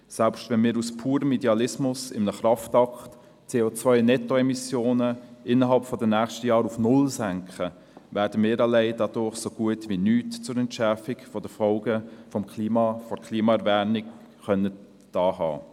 Selbst wenn wir aus purem Idealismus mit einem Kraftakt die CO-Nettoemissionen innerhalb der nächsten Jahre auf null senken könnten, würden wir dadurch so gut wie nichts zur Entschärfung der Folgen der Klimaerwärmung getan haben.